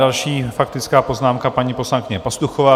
Další faktická poznámka, paní poslankyně Pastuchová.